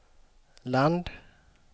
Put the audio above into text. land